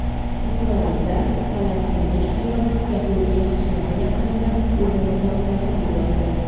Isroilda falastinlik ayol yahudiy qishlog‘i yaqinida o‘zini portlatib yubordi.